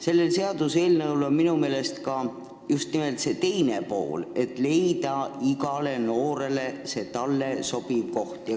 Selle seaduseelnõu eesmärk on minu meelest just nimelt leida igale noorele sobiv koht.